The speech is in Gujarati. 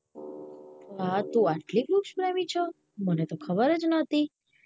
હા તું એટલે વૃક્ષ પ્રેમી છો મને તો ખબર જ નોતી